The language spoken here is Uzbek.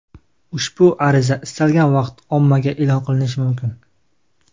Ushbu ariza istalgan vaqt ommaga e’lon qilinishi mumkin.